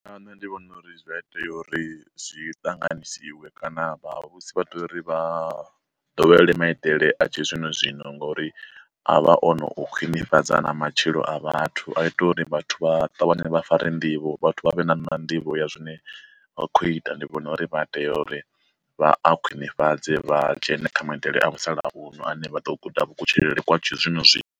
Nṋe ndi vhona uri zwi a itea uri zwi ṱanganisiwe kana vha vhusi vha tea uri vha ḓowele maitele a tshi zwino zwino, ngori avha ono u khwinifhadza na matshilo a vhathu a ita uri vhathu vha ṱavhanye vha fare nḓivho, vhathu vha vhe na na nḓivho ya zwine vha kho ita ndi vhona uri vha tea uri vha a khwinifhadze vha dzhene kha maitele a musalauno ane vha ḓo guda vhu kutshilele kwa tshi zwino zwino.